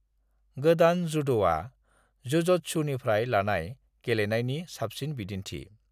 गोदान जुद'आ जजत्सुनिफ्राय लानाय गेलेनायनि साबसिन बिदिन्थि।